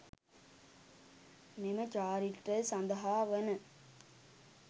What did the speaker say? මෙම චාරිත්‍රය සඳහා වන